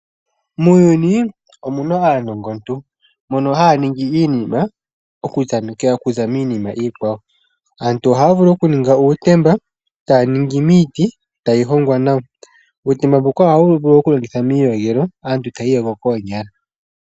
Muuyuni omuna aanongontu mbono haya ningi iinima oku tamekela okuza miinima iikwawo. Aantu ohaya vulu okuninga uutemba, taye wuningi miiti, tayi hongwa nawa. Uutemba mbuka ohawu vulu okulongithwa muu iyogelo aantu taya iiyogo koonyala.